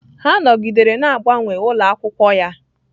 Ha nọgidere na-agbanwe ụlọ akwụkwọ ya